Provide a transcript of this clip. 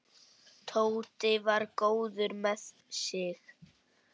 Tóti var góður með sig.